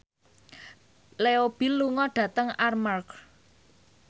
Leo Bill lunga dhateng Armargh